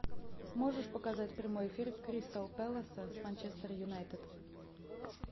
можешь показать прямой эфир кристал пэласа с манчестер юнайтед